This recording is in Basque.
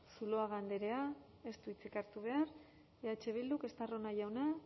zuluaga andrea ez du hitzik hartu behar eh bildu estarrona jauna